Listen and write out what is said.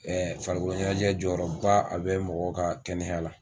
farikolo ɲɛnajɛ jɔyɔrɔba a bɛ mɔgɔ ka kɛnɛya la.